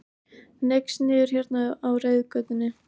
Hneigst niður hérna á reiðgötunni.